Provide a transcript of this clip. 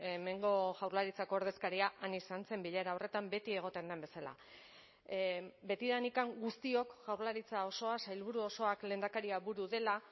hemengo jaurlaritzako ordezkaria han izan zen bilera horretan beti egoten den bezala betidanik guztiok jaurlaritza osoa sailburu osoak lehendakaria buru dela